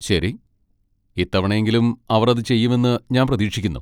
ശരി, ഇത്തവണയെങ്കിലും അവർ അത് ചെയ്യുമെന്ന് ഞാൻ പ്രതീക്ഷിക്കുന്നു.